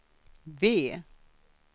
V